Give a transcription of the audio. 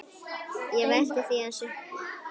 Ég velti því aðeins upp.